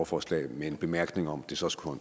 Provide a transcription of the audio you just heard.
forslag med en bemærkning om at det så skulle